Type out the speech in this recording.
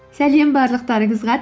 сәлем барлықтарыңызға